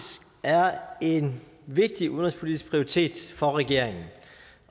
er en vigtig udenrigspolitisk prioritet for regeringen